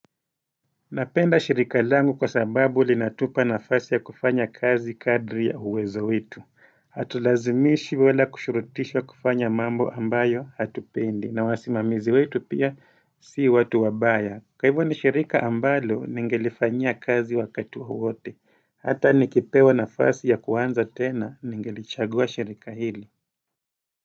Napenda shirika langu kwa sababu linatupa nafasi ya kufanya kazi kadri ya uwezo wetu. Hatulazimishi wala kushurutishwa kufanya mambo ambayo hatupendi. Na wasimamizi wetu pia si watu wabaya. Kwa hivo ni shirika ambalo ningelifanyia kazi wakati wowote. Hata nikipewa nafasi ya kuanza tena ningelichagua shirika hili.